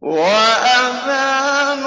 وَأَذَانٌ